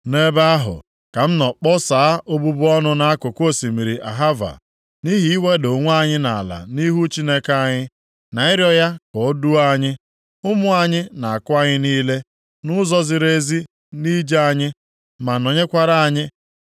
Nʼebe ahụ, ka m nọ kpọsaa obubu ọnụ nʼakụkụ osimiri Ahava, nʼihi iweda onwe anyị ala nʼihu Chineke anyị, na ịrịọ ya ka o duo anyị, ụmụ anyị na akụ anyị niile, nʼụzọ ziri ezi nʼije anyị, ma nọnyekwara anyị.